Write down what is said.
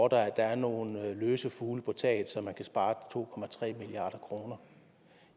at der er nogle løse fugle på taget så man kan spare to milliard kroner